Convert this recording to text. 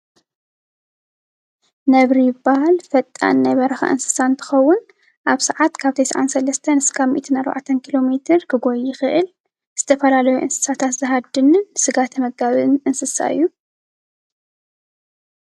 ነብሪ ይባሃል። ፈጣን ናይ በረካ እንስሳ እንትከውን ኣብ ስዓት ካብ 93 ካሳብ 104 ኪሎ ሜትር ክጎይይ ይክእል። ዝተፈላለዩ እንስሳት ዝሃድንን ስጋ ተመጋቢ እንስሳ እዩ።